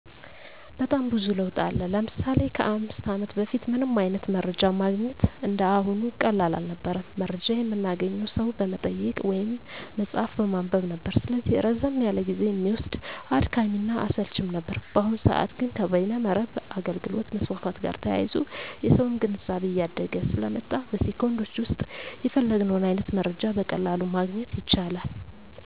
በጣም ብዙ ለውጥ አለ። ለምሳሌ ከ 5 አመት በፊት ምንም አይነት መረጃ ማግኘት እንደ አሁኑ ቀላል አልነበረም። መረጃ የምናገኘው ሰው በመጠየቅ ወይም መፅሀፍ በማንበብ ነበር። ስለዚህ ረዘም ያለ ጊዜ እሚወስድ፣ አድካሚ እና አሰልችም ነበር። በአሁኑ ሰዐት ግን ከበይነ መረብ አገልግሎት መስፋፋት ጋር ተያይዞ የሰውም ግንዛቤ እያደገ ስለመጣ በ ሴኮንዶች ዉስጥ የፈለግነውን አይነት መረጃ በቀላሉ ማግኘት ይቻላል።